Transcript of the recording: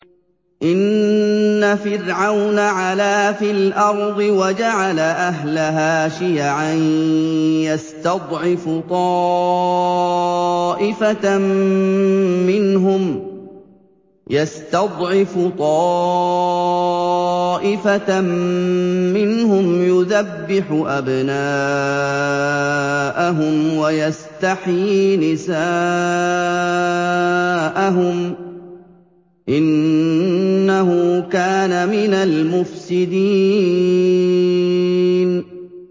إِنَّ فِرْعَوْنَ عَلَا فِي الْأَرْضِ وَجَعَلَ أَهْلَهَا شِيَعًا يَسْتَضْعِفُ طَائِفَةً مِّنْهُمْ يُذَبِّحُ أَبْنَاءَهُمْ وَيَسْتَحْيِي نِسَاءَهُمْ ۚ إِنَّهُ كَانَ مِنَ الْمُفْسِدِينَ